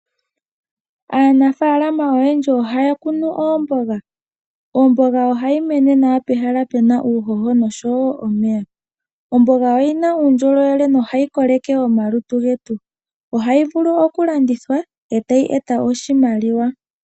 Aanafalama oyendji ohaya kunu oomboga. Omboga ohayi mene nawa pehala pu na uuhoho nosho wo omeya. Omboga oyi na uundjolowe nohayi koleke omalutu getu. Ohayi vulu okulandithwa, e tayi eta oshimaliwa.